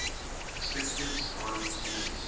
perspectives on jesus